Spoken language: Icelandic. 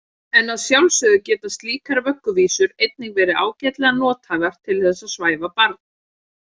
En að sjálfsögðu geta slíkar vögguvísur einnig verið ágætlega nothæfar til þess að svæfa barn.